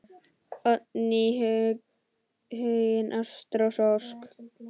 Oddný, Huginn, Ástrós og Ósk.